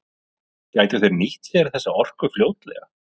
Gætu þeir nýtt sér þessa orku fljótlega?